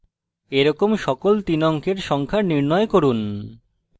এরকম সকল 3 অঙ্কের সংখ্যা নির্ণয় করুন